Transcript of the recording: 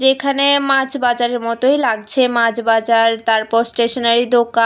এখানে মাছ বাজারের মতোই লাগছে মাছ বাজার তারপর স্টেশনারি দোকা--